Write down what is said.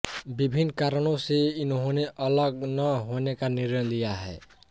विभिन्न कारणों से इन्होंने अलग न होने का निर्णय लिया है